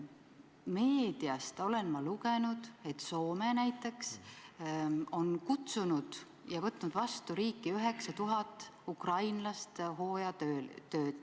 Meediast olen ma lugenud, et Soome näiteks on kutsunud ja võtnud riigis vastu 9000 ukrainlast hooajatöödeks.